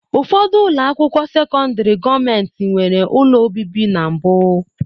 Ụfọdụ ụlọ akwụkwọ sekọndrị gọọmentị nwere ụlọ obibi na mbụ.